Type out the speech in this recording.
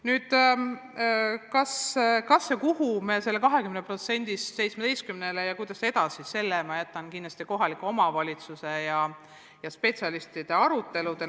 Nüüd, mis puutub selle 20% asemel 17% maksmisse, siis selle, kuidas edasi, ma jätan kindlasti kohaliku omavalitsuse ja spetsialistide arutada.